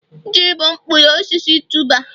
ji bụ mkpụrụ osisi tuber